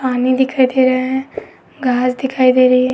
पानी दिखाई दे रहा है। घास दिखाई दे रही है।